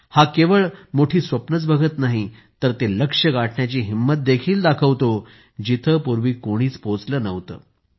हा केवळ मोठी स्वप्नंच बघत नाही तर ते लक्ष्य गाठण्याची हिंमत देखील दाखवतो जिथे पूर्वी कोणीच पोचलं नव्हतं